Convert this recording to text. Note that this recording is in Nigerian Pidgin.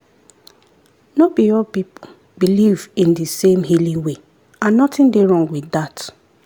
no be all people believe in di same healing way and nothing dey wrong with dat.